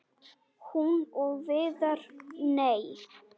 Hún og Viðar- nei!